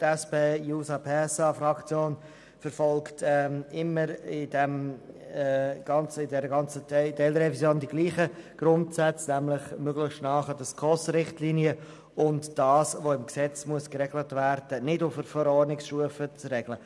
Die SPJUSO-PSA-Fraktion verfolgt in dieser ganzen Teilrevision immer dieselben Grundsätze, nämlich möglichst nahe an den SKOS-Richtlinien zu sein und das, was im Gesetz geregelt werden muss, nicht auf Verordnungsstufe zu regeln.